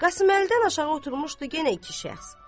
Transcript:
Qasıməlidən aşağı oturmuşdu yenə iki şəxs.